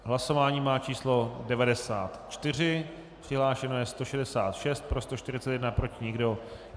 Hlasování má číslo 94, přihlášeno je 166, pro 141, proti nikdo.